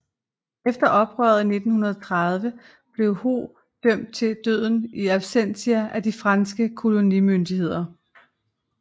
Efter oprøret i 1930 blev Ho dømt til døden in absentia af de franske kolonimyndigheder